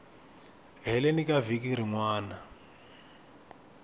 heleni ka vhiki rin wana